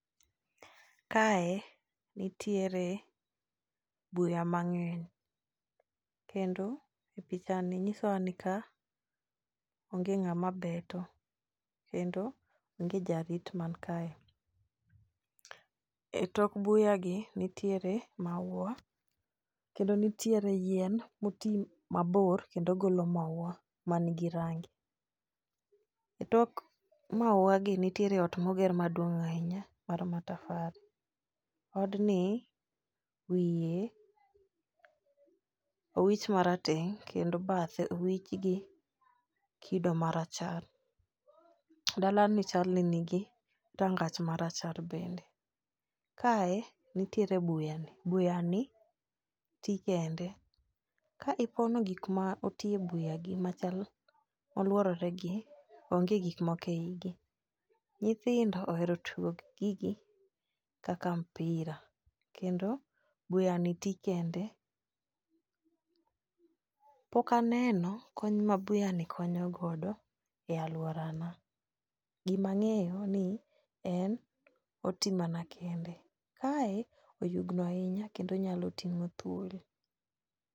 Ka e nitiere buya mang'eny kendo pichani nyiso wa ni ka onge ng'ama beto, kendo onge jarit mankae. E tok buya gi nitiere maua kendo nitiere yien moti mabor kendo golo maua manigi rangi. E tok maua gi nitiere ot moger maduong' ahinya mar matafali. Odni wie owich marateng' kendo badhe owich gi kido marachar. Dala ni chalni nigi rangach marachar bende. Ka e nitiere buya ni, buya ni ti kende. Ka ipono gik ma oti buya gi machal oluorore gi onge gikmoko e igi. Nyithindo ohero dugo gi gigi kaka mpira kendo buyani ti kende. Pok aneno kony ma buyani konyo godo e aluora na. Gima ang'eyo ni en oti mana kende. Kae oyugno ahinya kendo nyalo ting'o thuol.